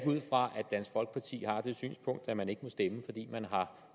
ud fra at dansk folkeparti har det synspunkt at man ikke må stemme fordi man har